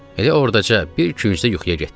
Elə ordaca bir kürəcə yuxuya getdim.